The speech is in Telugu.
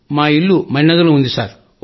మా ఇల్లు మణినగర్ లోనే ఉంది సర్